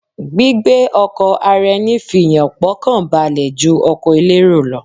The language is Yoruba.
Gbígbé ọkọ̀ ara eni fì yàn pọ̀ kàn balẹ̀ ju ọkọ̀ elérò lọ